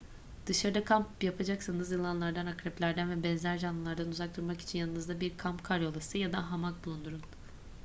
dışarıda kamp yapacaksanız yılanlardan akreplerden ve benzer canlılardan uzak durmak için yanınızda bir kamp karyolası ya da hamak bulundurun